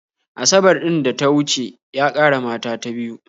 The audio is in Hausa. Asabar ɗin da ta wuce ya ƙara mata ta biyu